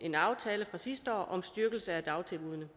en aftale fra sidste år om styrkelse af dagtilbuddene